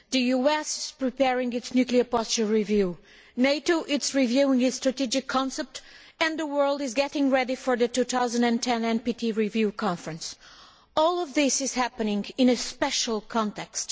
The US is preparing its nuclear posture review, NATO is reviewing its strategic concept and the world is getting ready for the 2010 NPT review conference. All of this is happening in a special context.